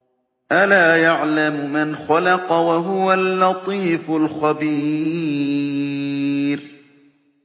أَلَا يَعْلَمُ مَنْ خَلَقَ وَهُوَ اللَّطِيفُ الْخَبِيرُ